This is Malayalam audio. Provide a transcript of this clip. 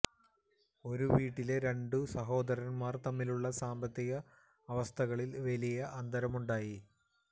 ഒരു വീട്ടിലെ രണ്ടു സഹോദരന്മാർ തമ്മിലുള്ള സാമ്പത്തിക അവസ്ഥകളിൽ വലിയ അന്തരമുണ്ടായി